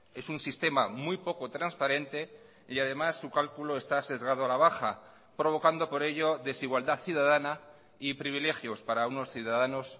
es un sistema muy poco transparente y además su cálculo está sesgado a la baja provocando por ello desigualdad ciudadana y privilegios para unos ciudadanos